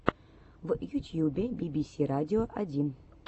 в ютьюбе би би си радио один